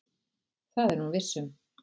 Það er hún viss um.